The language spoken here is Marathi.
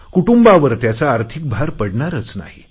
कुटुंबांवर त्याचा आर्थिक भार पडणारच नाही